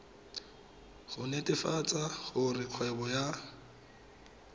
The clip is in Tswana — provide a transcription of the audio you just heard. go netefatsa gore kgwebo ya